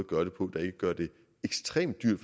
gøre det på der ikke gør det ekstremt dyrt